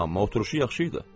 Amma oturuşu yaxşı idi.